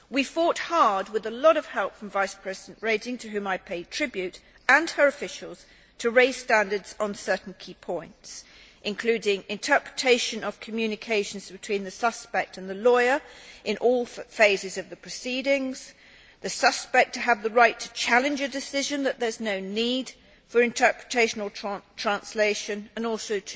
We fought hard with a lot of help from Vice President Reding, to whom I pay tribute, and her officials, to raise standards on certain key points, including interpretation of communications between the suspect and the lawyer in all phases of the proceedings, the right for the suspect to challenge the decision that there is no need for interpretation or translation, and also